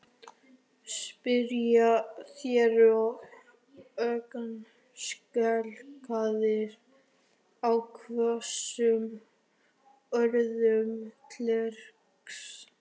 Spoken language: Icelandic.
spyrja þeir, ögn skelkaðir á hvössum orðum klerksins.